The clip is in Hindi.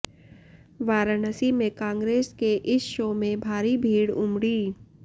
वाराणसी में कांग्रेस के इस शो में भारी भीड उमडी